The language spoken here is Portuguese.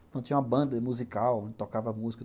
Então, tinha uma banda musical, onde tocava música.